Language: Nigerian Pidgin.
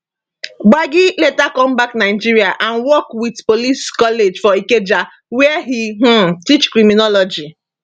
gbagi later come back nigeria and work wit police college for ikeja wia e um teach criminology